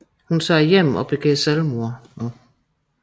Hun tager hjem og begår selvmord